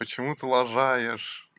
почему ты лажаешь